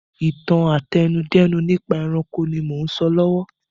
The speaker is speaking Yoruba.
Ìtàn àtẹnudẹ́nu nípa ẹranko ni mò ún sọ lọ́wọ́